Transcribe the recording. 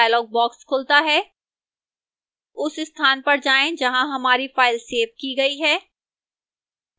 file browser dialog box खुलता है उस स्थान पर जाएं जहां हमारी फ़ाइल सेव की गई है